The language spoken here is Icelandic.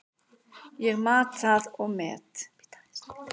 Ég mat það og met.